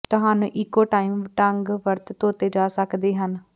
ਤੁਹਾਨੂੰ eco time ਢੰਗ ਵਰਤ ਧੋਤੇ ਜਾ ਸਕਦੇ ਹਨ